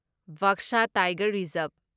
Baksa tiger reserve